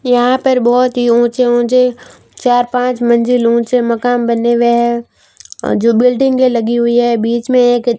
यहां पर बहोत ही ऊंचे ऊंचे चार पांच मंजिल ऊंचे मकान बने हुए है जो बिल्डिंग लगी हुई है बीच में एक--